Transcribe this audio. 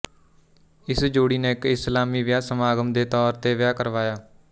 ਇਸ ਜੋੜੀ ਨੇ ਇੱਕ ਇਸਲਾਮੀ ਵਿਆਹ ਸਮਾਗਮ ਦੇ ਤੌਰ ਤੇ ਵਿਆਹ ਕਰਵਾਇਆ